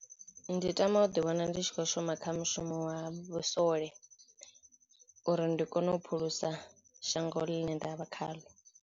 Ndi tama u ḓi wana ndi tshi khou shuma kha mushumo wa vhusole uri ndi kone u phulusa shango ḽine ndavha khaḽo.